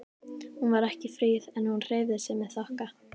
Hún var ekki fríð en hún hreyfði sig með þokka.